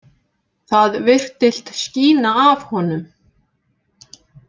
Það virtist skína af honum.